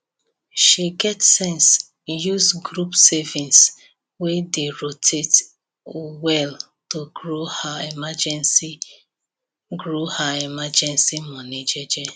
she get sense use group savings wey dey rotate well to grow her emergency grow her emergency money jeje